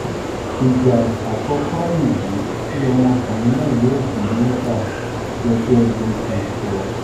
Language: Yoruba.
ìgbà àkọ́kọ́ nìyí tí ọmọkùnrin náà yóò dé mecca gẹ́gẹ́ bó bó ṣe sọ